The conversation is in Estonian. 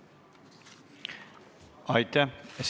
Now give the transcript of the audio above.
Aitäh!